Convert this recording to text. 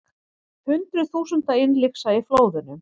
Hundruð þúsunda innlyksa í flóðunum